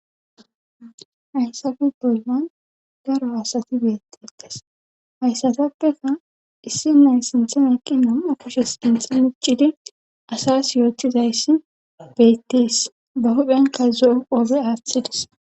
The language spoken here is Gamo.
haysape bolman garo asati beettetes hayssatappeka issi nay sinthem eqqinon okushes intxi miccidi asas yootizayssi beettees ba huphenka zo7o qoobe aaththidis